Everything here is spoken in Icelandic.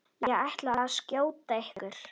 Ég ætla að skjóta ykkur!